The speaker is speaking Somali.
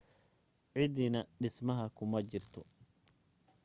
cidina dhismaha kuma jirin